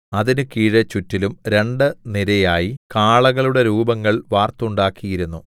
അതിന് കീഴെ ചുറ്റിലും രണ്ടു നിരയായി കാളകളുടെ രൂപങ്ങൾ വാർത്തുണ്ടാക്കിയിരുന്നു